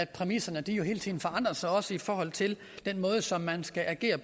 præmisserne jo hele tiden forandrer sig også i forhold til den måde som man skal agere